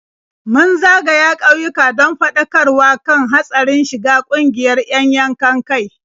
Mun zagaya ƙauyuka don faɗakarwa kan hatsarin shiga ƙungiyar 'yan yankan-kai.